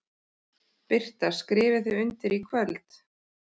Birta: Skrifið þið undir í kvöld?